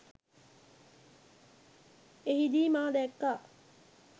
එහිදී මා දැක්‌කා